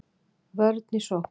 Vörn í sókn